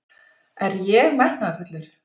Er ég metnaðarfullur?